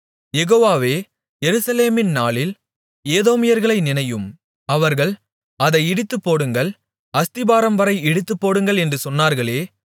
யெகோவாவே எருசலேமின் நாளில் ஏதோமியர்களை நினையும் அவர்கள் அதை இடித்துப்போடுங்கள் அஸ்திபாரம்வரை இடித்துப்போடுங்கள் என்று சொன்னார்களே